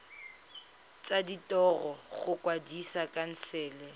tsa ditiro go kwadisa khansele